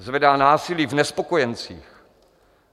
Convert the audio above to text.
Zvedá násilí v nespokojencích.